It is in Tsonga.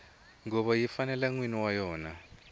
nguvo yi fanela nwini wa yona